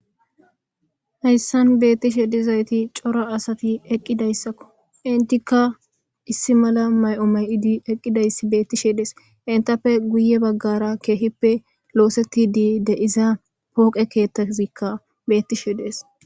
hayssan beettishe dizayti cora asati eqqidayssakko intikka issi mala may7o may7idi eqqidayss beettishe dees intappe guye baggara keehippe looseti di de iza pooqe keettazikka bettishe dees